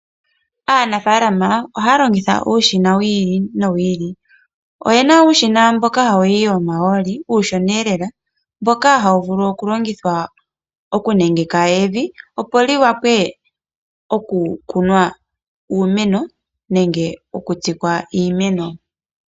Aanafaalama ohaya longitha uushina wi ili no wi ili . Oyena uushina mboka hawu yi omahooli, uushina uushonaelela, mboka hawu vulu okulongithwa okunengeka evi opo wuwape okukunwa uumeno nenge okutsikwa iimeno.